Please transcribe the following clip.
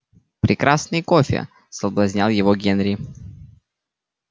прекрасный кофе соблазнял его генри